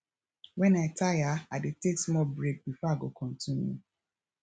wen i tire i dey take small break before i go continue